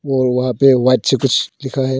और वहां पे व्हाइट से कुछ लिखा है।